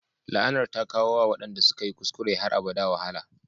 La'anar ta kawo wa waɗanda suka yi kuskure har abada wahala